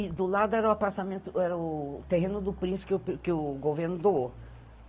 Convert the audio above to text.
E do lado era o, era o terreno do príncipe que o que o governo doou.